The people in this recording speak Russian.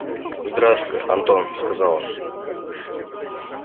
здравствуй антон сказал он